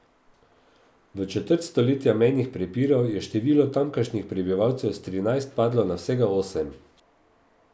V četrt stoletja mejnih prepirov je število tamkajšnjih prebivalcev s trinajst padlo na vsega osem.